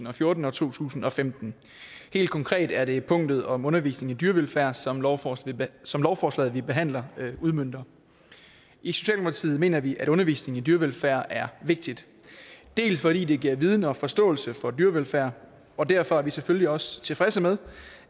og fjorten og to tusind og femten helt konkret er det punktet om undervisning i dyrevelfærd som lovforslaget som lovforslaget vi behandler udmønter i socialdemokratiet mener vi at undervisning i dyrevelfærd er vigtig fordi det giver viden og forståelse for dyrevelfærd og derfor er vi selvfølgelig også tilfredse med